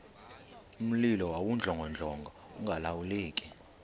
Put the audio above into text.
mlilo wawudlongodlongo ungalawuleki